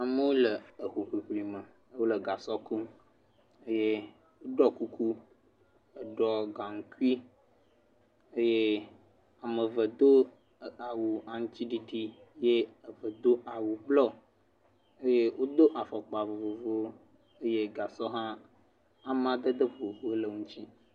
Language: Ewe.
Amewo le eho ʋliʋli me. Wòle gasɔ kum eye woɖɔ kuku heɖɔ gankui eye ame eve Do awu aŋutiɖiɖi eye ame eve do awu bluɔ eye wodo afɔkpa vovovowo eye gasɔ hã amedede vovovowo woe le wosi.